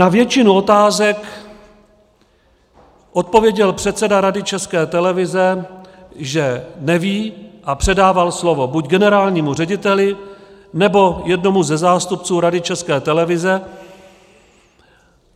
Na většinu otázek odpověděl předseda Rady České televize, že neví, a předával slovo buď generálnímu řediteli, nebo jednomu ze zástupců Rady České televize.